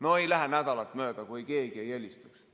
No ei lähe nädalat mööda, kui keegi ei helistaks.